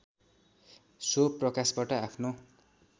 so प्रकाशबाट आफ्नो